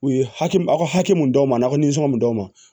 U ye haki a ka hakɛ mun d'aw ma ka nisɔn mun d'aw ma